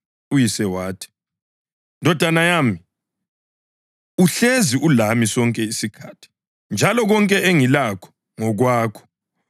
Uyise wathi, ‘Ndodana yami, uhlezi ulami sonke isikhathi njalo konke engilakho ngokwakho.